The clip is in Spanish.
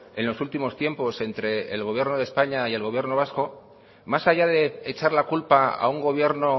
en los últimos tiempos entre el gobierno de españa y el gobierno vasco más allá de echar la culpa a un gobierno